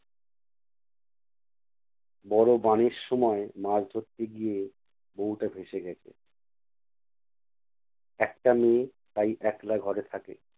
বড় বাণের সময় মাছ ধরতে গিয়ে বউটা ভেসে গেছে। একটা মেয়ে তাই একলা ঘরে থাকে।